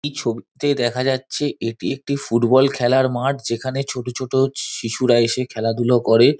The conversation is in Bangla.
এই ছবি টিতে দেখা যাচ্ছে এটি একটি ফুটবল খেলার মাঠ যেখানে ছোট ছোট শি-শিশুরা এসে খেলাধুলো করে।